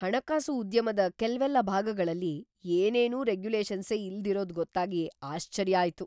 ಹಣಕಾಸು ಉದ್ಯಮದ ಕೆಲ್ವೆಲ್ಲ ಭಾಗಗಳಲ್ಲಿ ಏನೇನೂ ರೆಗ್ಯುಲೇಷನ್ಸೇ ಇಲ್ದಿರೋದ್‌ ಗೊತ್ತಾಗಿ ಆಶ್ಚರ್ಯ ಆಯ್ತು.